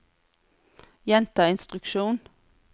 gjenta instruksjon